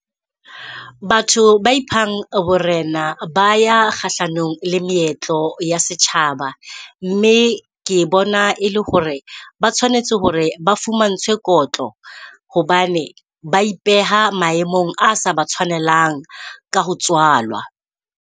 Batho ba iphang borena, ba ya kgahlanong le meetlo ya setjhaba. Mme ke bona e le hore ba tshwanetse hore ba fumantshwe kotlo, hobane ba ipeha maemong a sa batshwanelang ka ho tswalwa.